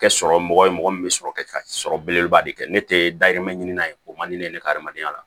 Kɛ sɔrɔ mɔgɔ ye mɔgɔ min bɛ sɔrɔ ka sɔrɔ belebeleba de kɛ ne tɛ dahirimɛ ɲini n'a ye ko man di ne ye ne ka adamadenya la